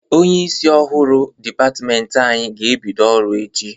Onyeisi ọhụrụ dịpatmenti anyị ga-ebido ọrụ echi.